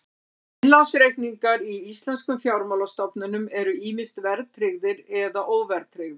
Innlánsreikningar í íslenskum fjármálastofnunum eru ýmist verðtryggðir eða óverðtryggðir.